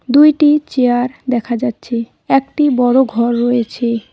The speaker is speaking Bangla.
দুইটি চেয়ার দেখা যাচ্ছে একটি বড় ঘর রয়েছে।